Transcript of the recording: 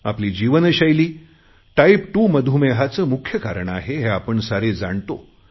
आपली जीवनशैली टाईप2 मधुमेहाचे मुख्य कारण आहे हे आपण सारे जाणतो